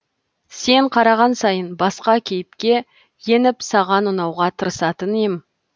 сен қараған сайын басқа кейіпке еніп саған ұнауға тырысатын ем